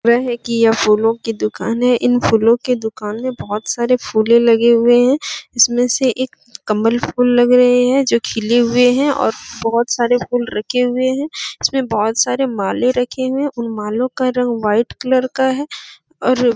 र है की यह फूलो की दुकान है इन फूलो की दुकान में बहुत सारे फूले लगे हुए हैं इसमें से एक कमल फूल लग रहे हैं जो खिले हुए हैं और बहुत सारे फूल रखे हुए हैं इसमें बहुत सारे माले रखे हुए हैं उन मालो का रंग वाइट कलर का है और --